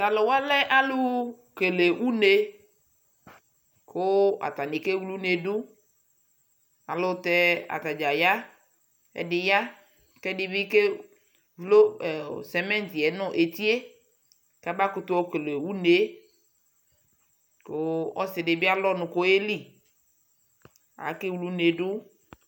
Taluwa lɛ alu kele une ku atani kewle une du Ayelutɛ atadza ya ɛdi ya ku ɛdibi kevlo simiti yɛ nu eti yɛ kamakutu yɔkele une yɛ Ku ɔsi di bi alu ɔnu ku ɔyeli Akewle une du